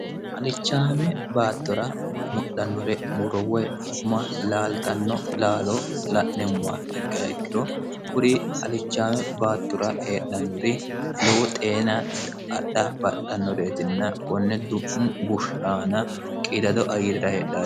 alichaame baattura mudhannure murowwoy inkuma laaltanno laalo la'nemmowa hikkahikkiro kuri alichaame baattura heedhannuri lowu xeena adha baxxannoreetinna konne du'mu bushiaana qiidado ayirra heedhnre